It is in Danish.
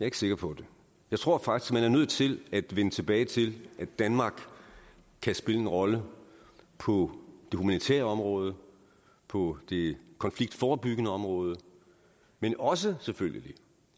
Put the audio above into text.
ikke sikker på det jeg tror faktisk at man er nødt til at vende tilbage til at danmark kan spille en rolle på det humanitære område på det konfliktforebyggende område men også selvfølgelig